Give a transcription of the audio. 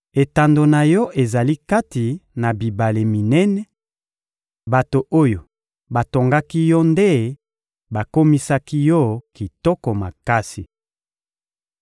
Etando na yo ezali kati na bibale minene; bato oyo batongaki yo nde bakomisaki yo kitoko makasi.